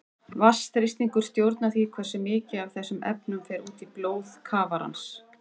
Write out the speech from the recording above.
Vatnsþrýstingur stjórnar því hversu mikið af þessum efnum fer út í blóð kafarans.